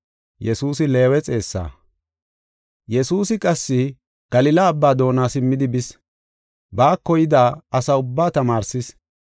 Yesuusi qassi Galila Abbaa doona simmi bidi, baako yida asa ubbaa tamaarsis.